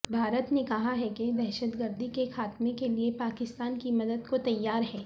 بھارت نے کہا ہے کہ دہشتگردی کے خاتمے کیلئے پاکستان کی مدد کو تیار ہیں